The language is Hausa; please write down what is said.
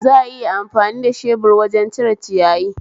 Za'a iya amfani da shebur wajen cire ciyayi